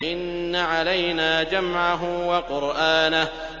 إِنَّ عَلَيْنَا جَمْعَهُ وَقُرْآنَهُ